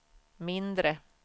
mindre